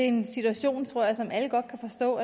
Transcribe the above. en situation tror jeg som alle godt kan forstå